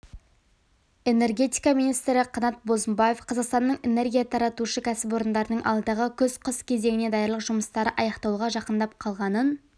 энергетика министрі қанат бозымбаев қазақстанның энергия таратушы кәсіпорындарының алдағы күз-қыс кезеңіне даярлық жұмыстары аяқталуға жақындап қалғанын